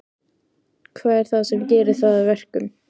Hvað er það sem gerir það að verkum?